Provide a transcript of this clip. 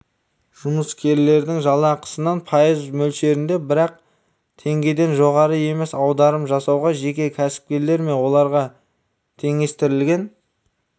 жұмыскердің жалақысынан пайыз мөлшерінде бірақ теңгеден жоғары емес аударым жасауға жеке кәсіпкерлер мен оларға теңестірілген